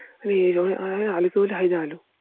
আলু কে বলি